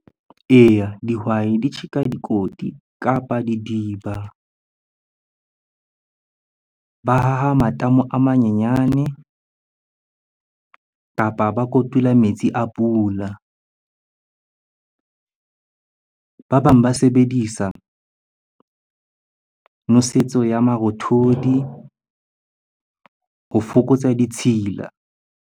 Eya, dihwai di tjheka dikoti kapa didiba. Ba haha matamo a manyenyane kapa ba kotula metsi a pula. Ba bang ba sebedisa nosetso ya marothodi ho fokotsa ditshila.